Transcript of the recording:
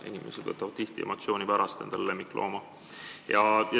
Inimesed võtavad tihti endale lemmiklooma emotsiooni pärast.